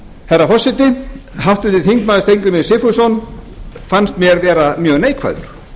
herra forseti háttvirtur þingmaður steingrímur j sigfússon fannst mér vera mjög neikvæður